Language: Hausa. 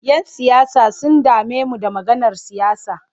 Yan siyasa sun dame mu da maganar siyasa.